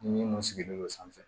Minnu sigilen don sanfɛ